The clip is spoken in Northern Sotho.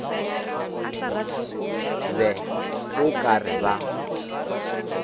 be o ka re ba